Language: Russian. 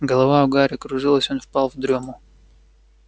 голова у гарри кружилась он впал в дрёму